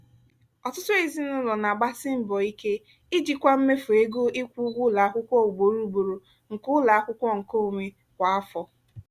ọtụtụ ezinụlọ na-agbasi mbọ ike ijikwa mmefu ego ịkwụ ụgwọ ụlọ akwụkwọ ugboro ugboro nke ụlọ akwụkwọ nkeonwe kwa afọ